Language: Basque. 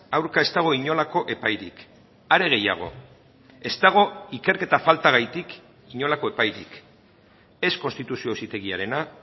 aurka ez dago inolako epairik are gehiago ez dago ikerketa faltagatik inolako epairik ez konstituzio auzitegiarena